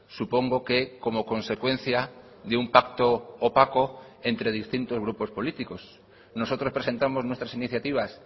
supongo que como consecuencia de un pacto opaco entre distintos grupos políticos nosotros presentamos nuestras iniciativas